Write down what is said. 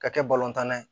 Ka kɛ balontanna ye